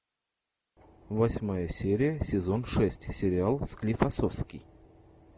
восьмая серия сезон шесть сериал склифосовский